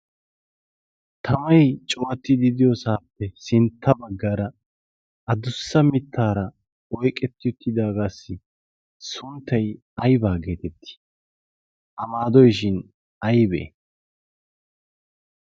tamai cuwatti didiyoosaappe sintta baggaara adussa mittaara oiqetti uttidaagaassi sunttai aibaa geetettii ?amaadoishin aibee?